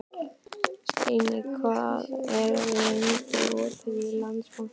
Steinn, hvað er lengi opið í Landsbankanum?